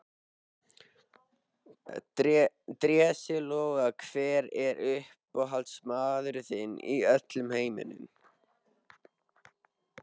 Drési Loga Hver er uppáhaldsstaðurinn þinn í öllum heiminum?